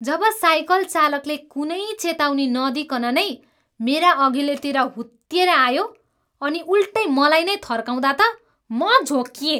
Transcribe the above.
जब cycle चालकले कुनै चेताउनी नदिइकन नै मेरा अघिल्तिर हुत्तिएर आयो अनि उल्टै मलाई नै थर्काउँदा त म झोक्किएँ।